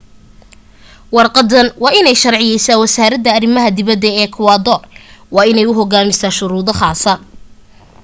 warqaddan waa inay sharciyaysaa wasaaradda arimaha dibadda ee ekwadoor waan inay u hogaansantaa shuruudo khaasa